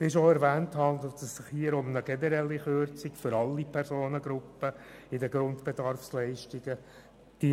Wie schon erwähnt, handelt es sich hier um eine generelle Kürzung der Grundbedarfsleistungen aller Personengruppen.